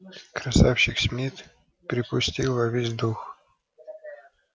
красавчик смит припустил во весь дух